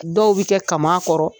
Dɔw bi kɛ kama kɔrɔ